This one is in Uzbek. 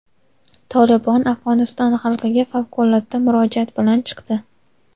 "Tolibon" Afg‘oniston xalqiga favqulodda murojaat bilan chiqdi.